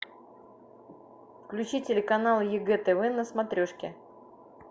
включи телеканал егэ тв на смотрешке